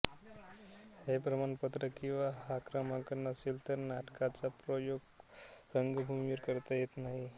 हे प्रमाणपत्र किंवा हा क्रमांक नसेल तर नाटकाचा प्रयोग रंगभूमीवर करता येत नाही